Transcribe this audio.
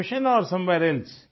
profession or somewhere else